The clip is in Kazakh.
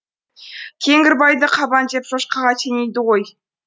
кеңгірбайды қабан деп шошқаға теңейді ғой